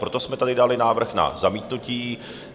Proto jsme tady dali návrh na zamítnutí.